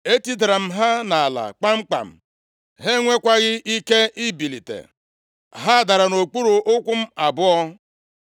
Etidara m ha nʼala kpamkpam. Ha enwekwaghị ike ibilite. Ha dara nʼokpuru ụkwụ m abụọ.